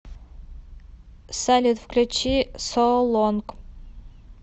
салют включи соу лонг